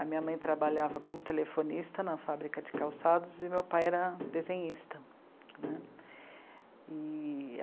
A minha mãe trabalhava como telefonista na fábrica de calçados e meu pai era desenhista né, e...